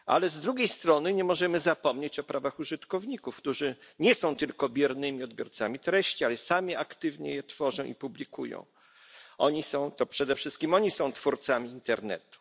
Z drugiej strony nie możemy zapomnieć o prawach użytkowników, którzy nie są tylko biernymi odbiorcami treści, ale sami aktywnie je tworzą i publikują to przede wszystkim oni są twórcami internetu.